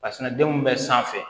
Kasinɛ denw bɛ sanfɛ